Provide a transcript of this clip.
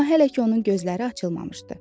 Amma hələ ki onun gözləri açılmamışdı.